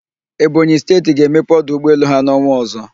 Ebonyị Steeti ga-emepe ọdụ ụgbọelu ha n'ọnwạ ọzọ.